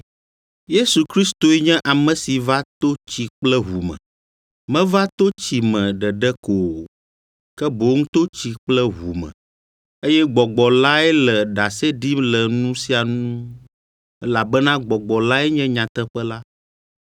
Yesu Kristoe nye ame si va to tsi kple ʋu me. Meva to tsi me ɖeɖe ko o, ke boŋ to tsi kple ʋu me. Eye Gbɔgbɔ lae le ɖase ɖim le nu sia ŋu, elabena Gbɔgbɔ lae nye nyateƒe la.